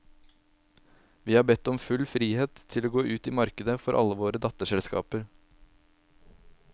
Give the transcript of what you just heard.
Vi har bedt om full frihet til å gå ut i markedet for alle våre datterselskapet.